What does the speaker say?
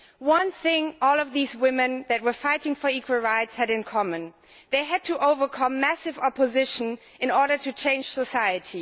One thing all of these women that were fighting for equal rights had in common they had to overcome massive opposition in order to change society.